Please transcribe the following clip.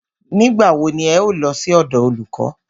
Nígbà wo ni ẹ̀ ń lọ sí ọ̀dọ̀ olùkọ́?